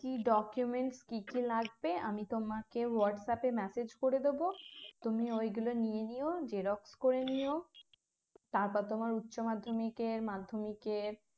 কি documents কী কী লাগবে আমি তোমাকে হোয়াটসঅ্যাপে message করে দেবো তুমি ওই গুলো নিয়ে নিও xerox করে নিও তারপর তোমার উচ্চ মাধ্যমিকের মাধ্যমিকের